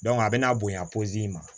a bɛna bonya in ma